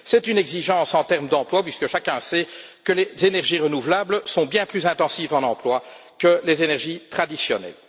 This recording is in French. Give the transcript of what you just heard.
C'est une exigence en termes d'emplois puisque chacun sait que les énergies renouvelables sont bien plus intensives en emplois que les énergies traditionnelles.